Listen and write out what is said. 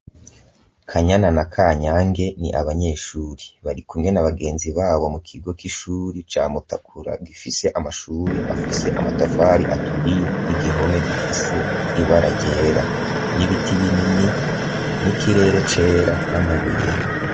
Kanyana na ka nyange ni abanyeshuri bari kumwe na abagenzi babo mu kigo k'ishuri ca mutakura gifise amashuri afise amatafari aturiye n'igihome gifise ibara ryera, n'ibiti binini n'ikirere cera n'amabuye.